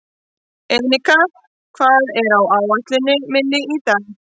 Enika, hvað er á áætluninni minni í dag?